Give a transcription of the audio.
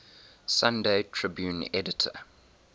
sunday tribune editor